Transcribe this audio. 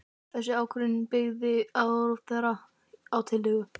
Þessa ákvörðun byggði ráðherra á tillögu